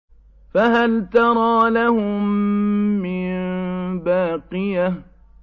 فَهَلْ تَرَىٰ لَهُم مِّن بَاقِيَةٍ